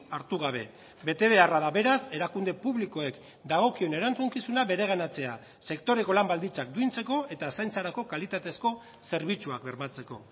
hartu gabe betebeharra da beraz erakunde publikoek dagokien erantzukizuna bereganatzea sektoreko lan baldintzak duintzeko eta zaintzarako kalitatezko zerbitzuak bermatzeko